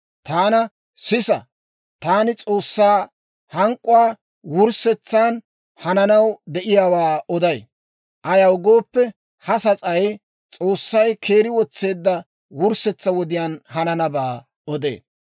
Taana, «Sisa, taani S'oossaa hank'k'uwaa wurssetsan hananaw de'iyaawaa oday; ayaw gooppe, ha sas'ay S'oossay keeri wotseedda wurssetsaa wodiyaan hananabaa odee.